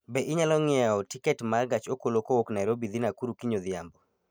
Be inyalo ng'iewona tiket ma gach okolokowuok Nairobi dhi Nakuru kiny odhiambo